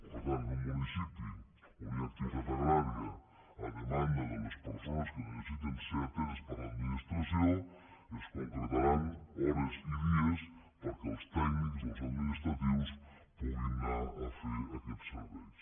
per tant en un municipi on hi ha activitat agrària a demanda de les persones que necessiten ser ateses per l’administració es concretaran hores i dies perquè els tècnics i els administratius puguin anar a fer aquests serveis